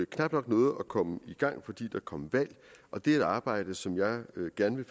knap nok nåede at komme i gang fordi der kom valg og det er et arbejde som jeg gerne vil